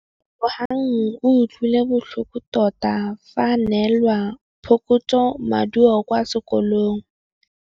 Lebogang o utlwile botlhoko tota fa a neelwa phokotsômaduô kwa sekolong.